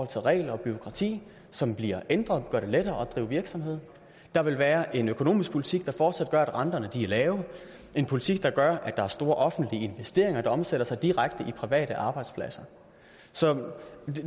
til regler og bureaukrati som bliver ændret og gør det lettere at drive virksomhed der vil være en økonomisk politik der fortsat gør at renterne er lave en politik der gør at der er store offentlige investeringer der omsætter sig direkte i private arbejdspladser så